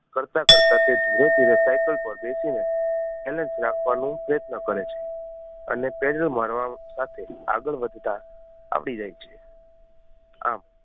કરતાં કરતાં તે ધીરે ધીરે સાઇકલ પર બેસી ને balance રાખવાનું પ્રયત્ન કરે છે અને પેન્ડલ મારવા સાથે આગળ વધતાં આવડી જાય છે આમ